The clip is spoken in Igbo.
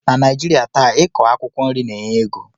Na Naijirịa taa,i kọ akwụkwọ nri na-enye ego